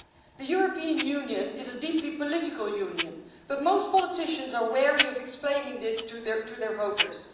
The European Union is a deeply political union, but most politicians are wary of explaining this to their voters.